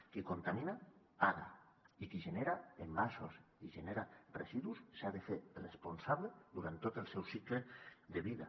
qui contamina paga i qui genera envasos i genera residus se n’ha de fer responsable durant tot el seu cicle de vida